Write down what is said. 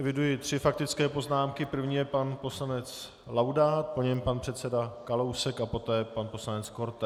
Eviduji tři faktické poznámky, první je pan poslanec Laudát, po něm pan předseda Kalousek a poté pan poslanec Korte.